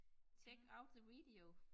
Check out the video